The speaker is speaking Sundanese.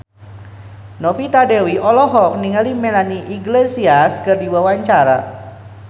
Novita Dewi olohok ningali Melanie Iglesias keur diwawancara